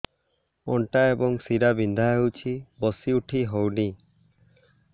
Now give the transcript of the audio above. ଅଣ୍ଟା ଏବଂ ଶୀରା ବିନ୍ଧା ହେଉଛି ବସି ଉଠି ହଉନି